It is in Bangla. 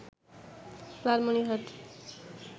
লালমনিরহাট